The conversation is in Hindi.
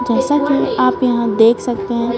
जैसा कि आप यहां देख सकते हैं ।